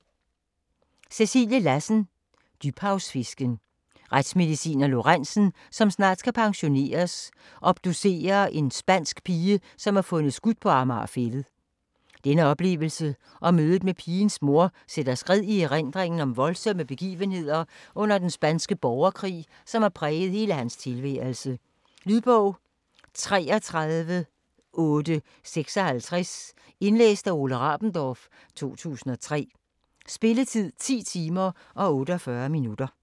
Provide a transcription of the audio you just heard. Lassen, Cæcilie: Dybhavsfisken Retsmedicineren Lorentzen, som snart skal pensioneres, obducerer en spansk pige som er fundet skudt på Amager Fælled. Denne oplevelse og mødet med pigens mor sætter skred i erindringen om voldsomme begivenheder under den spanske borgerkrig, som har præget hele hans tilværelse. Lydbog 33856 Indlæst af Ole Rabendorf, 2003. Spilletid: 10 timer, 48 minutter.